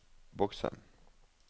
bokse